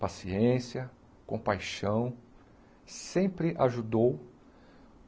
paciência, compaixão, sempre ajudou.